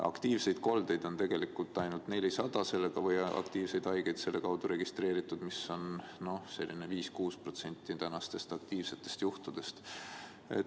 Aktiivseid koldeid või aktiivseid haigeid on tegelikult ainult 400 selle kaudu registreeritud, mis on vaid 5–6% tänastest aktiivsetest juhtudest.